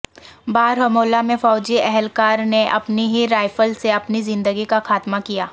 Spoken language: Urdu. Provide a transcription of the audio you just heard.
بارہمولہ میں فوجی اہلکار نے اپنی ہی رائفل سے اپنی زندگی کا خاتمہ کیا